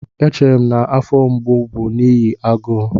Echere m na afọ mgbu bụ n'ihi agụụ